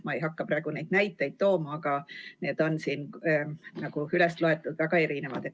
Ma ei hakka praegu neid näiteid tooma, aga need on siin üles loetud, väga erinevad.